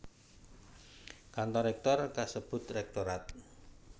Kantor rèktor kasebut rektorat